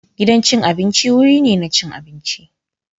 Gidan cin abinci wuri ne na cin abinci.